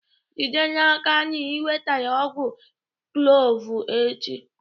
Jide n'aka na ị wetara ọgwụ kloovu echi!